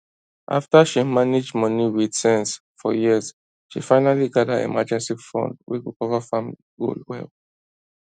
after she manage money with sense for years she finally gather emergency fund wey go cover family goal well